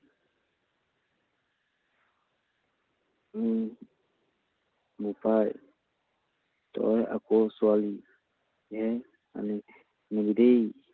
উম বোপাই, তই আকৌ ছোৱালীয়েই আনিবি দেই।